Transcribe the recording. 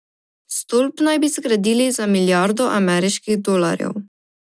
Stolp naj bi zgradili za milijardo ameriških dolarjev.